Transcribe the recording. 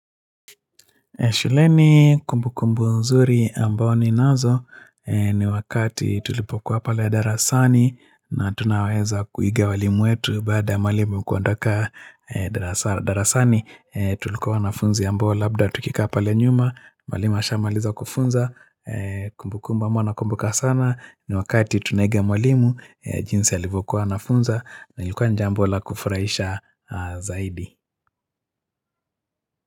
Shuleni kumbukumbu nzuri ambao ninazo ni wakati tulipokuwa pale darasani na tunaweza kuiga walimu wetu baada mwalimu kuondoka darasani tulikuwa wanafunzi ambao labda tukikaa pale nyuma mwalimu ashamaliza kufunza kumbukumbu abao nakumbuka sana ni wakati tunaiga mwalimu jinsi alivyokuwa anafunza na ilikuwa ni jambo la kufurahisha zaidi.